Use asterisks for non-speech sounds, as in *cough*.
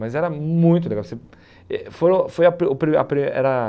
Mas era muito legal. Você eh foram foi *unintelligible* era